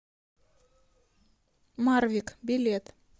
марвик билет